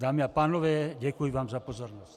Dámy a pánové, děkuji vám za pozornost.